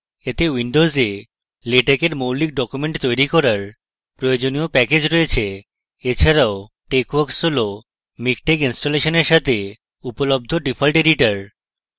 এতে windows latex মৌলিক documents তৈরি করার প্রয়োজনীয় প্যাকেজগুলি রয়েছে এছাড়াও texworks হল miktex ইনস্টলেশনের সাথে উপলব্ধ ডিফল্ট editor